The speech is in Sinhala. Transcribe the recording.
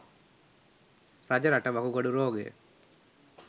රජරට වකුගඩු රෝගය